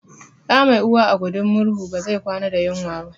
Ɗa mai uwa a gudin murhu ba zai kwana da yunwa ba